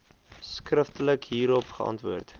skriftelik hierop geantwoord